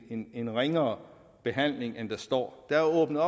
en en ringere behandling end der står der er åbnet